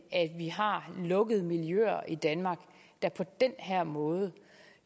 vi har lukkede miljøer i danmark der på den her måde